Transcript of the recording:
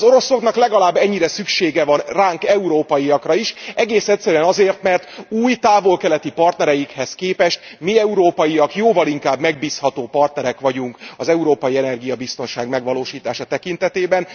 Az oroszoknak legalább ennyire szüksége van ránk, európaiakra is, egészen egyszerűen azért, mert új távol keleti partnereikhez képest mi európaiak jóval inkább megbízható partnerek vagyunk az európai energiabiztonság megvalósítása tekintetében.